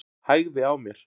Hægði á mér.